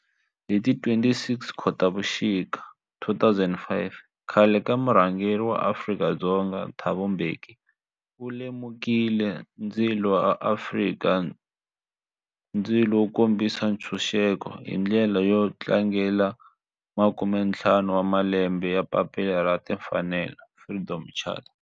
Laha hi kona la van'watipolitiki kun'we ni vaaka tiko va Afrika-Dzonga va nga tsala papila ra timfanelo, Freedom Charter.